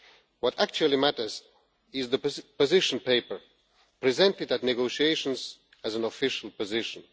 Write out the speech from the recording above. What actually matters is the position paper presented at negotiations as an official position.